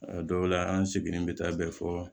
A dɔw la an seginnen bɛ taa bɛɛ fɔ